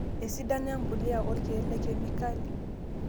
Esidano empuliya oorkiek le kemikali;